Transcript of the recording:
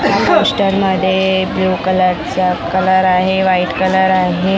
Poster मध्ये blue colour चा colour आहे व्हाईट कलर आहे.